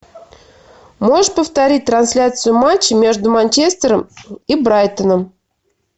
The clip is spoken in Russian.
можешь повторить трансляцию матча между манчестером и брайтоном